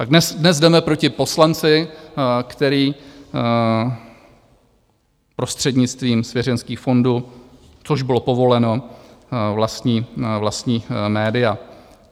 Tak dnes jdeme proti poslanci, který prostřednictvím svěřenských fondů, což bylo povoleno, vlastní média.